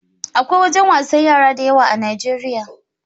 Akwai wajan wasan yara da yawa a Nijeriya